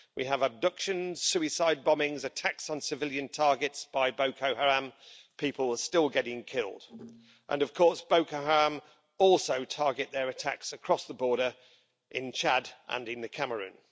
We have abductions, suicide bombings, attacks on civilian targets by Boko Haram, people are still getting killed, and of course Boko Haram also target their attacks across the border in Chad and in the Cameroon.